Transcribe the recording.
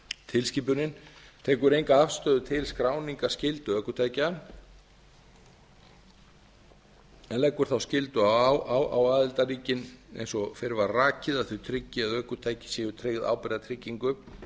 tilskipunin tekur enga afstöðu til skráningarskyldu ökutækja en leggur þá skyldu á aðildarríkin eins og fyrr var rakið að þau tryggi að ökutæki séu tryggð ábyrgðartryggingu